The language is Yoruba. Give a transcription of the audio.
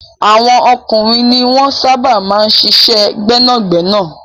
Àwọn ọkùnrin ni wọ́n sábà máa ń ṣiṣẹ́ gbẹ́nàgbẹ́nà.